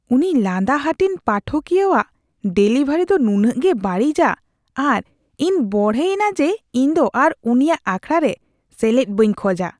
ᱩᱱᱤ ᱞᱟᱸᱫᱟ ᱦᱟᱹᱴᱤᱧ ᱯᱟᱴᱷᱚᱠᱤᱭᱟᱹᱣᱟᱜ ᱰᱮᱞᱤᱵᱷᱟᱨᱤ ᱫᱚ ᱱᱩᱱᱟᱹᱜ ᱜᱮ ᱵᱟᱹᱲᱤᱡᱼᱟ ᱟᱨ ᱤᱧ ᱵᱚᱲᱦᱮᱭᱮᱱᱟ ᱡᱮ ᱤᱧᱫᱚ ᱟᱨ ᱩᱱᱤᱭᱟᱜ ᱟᱠᱷᱟᱲᱟ ᱨᱮ ᱥᱮᱞᱮᱫᱚ ᱵᱟᱹᱧ ᱠᱷᱚᱡᱟ ᱾